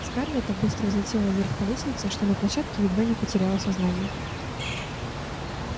скарлетт так быстро взлетела вверх по лестнице что на площадке едва не потеряла сознание